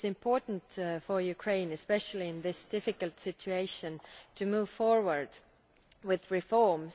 It is important for Ukraine, especially in this difficult situation, to move forward with reforms.